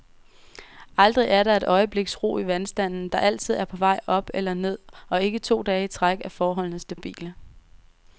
Aldrig er der et øjebliks ro i vandstanden, der altid er på vej op eller ned, og ikke to dage i træk er forholdene stabile.